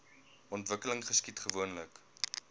ontwikkeling geskied gewoonlik